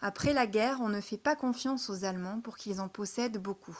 après la guerre on ne fait pas confiance aux allemands pour qu'ils en possèdent beaucoup